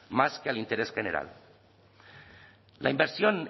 más que al interés general la inversión